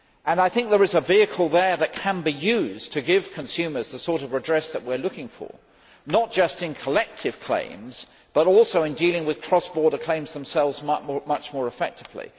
I think there is a vehicle there that can be used to give consumers the sort of redress that we are looking for, not just in collective claims but also in dealing with cross border claims themselves much more effectively.